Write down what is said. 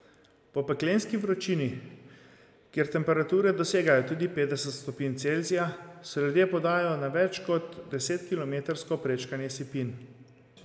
Po peklenski vročini, kjer temperature dosegajo tudi petdeset stopinj Celzija, se ljudje podajo na več kot desetkilometrsko prečkanje sipin.